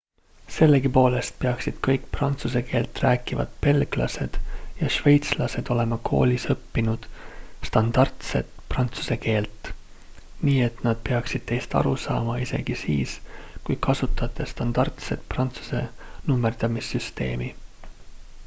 sellegipoolest peaksid kõik prantsuse keelt rääkivad belglased ja šveitslased olema koolis õppinud standardset prantsuse keelt nii et nad peaksid teist aru saama isegi siis kui kasutate standardset prantsuse nummerdamissüsteemi